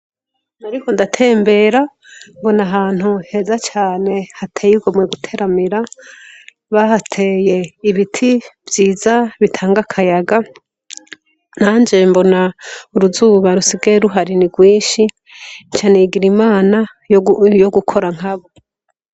Nariko ndatembera mbona ahantu heza cane hateye igomwe guteramira bahateye ibiti vyiza bitanga akayaga nanje mbona uruzuba rusigaye ruhari ni rwinshi nca nigira inama yo gukora nkabo.